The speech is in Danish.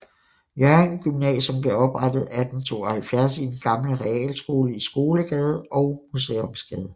Hjørring Gymnasium blev oprettet 1872 i den gamle realskole i Skolegade og Museumsgade